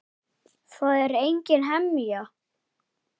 Það er engin hemja.